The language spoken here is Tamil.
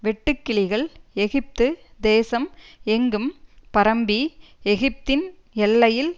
வெட்டுக்கிளிகள் எகிப்து தேசம் எங்கும் பரம்பி எகிப்தின் எல்லையில்